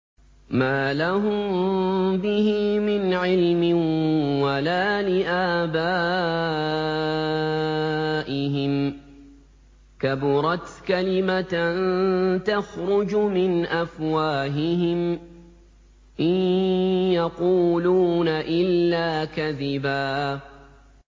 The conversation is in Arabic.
مَّا لَهُم بِهِ مِنْ عِلْمٍ وَلَا لِآبَائِهِمْ ۚ كَبُرَتْ كَلِمَةً تَخْرُجُ مِنْ أَفْوَاهِهِمْ ۚ إِن يَقُولُونَ إِلَّا كَذِبًا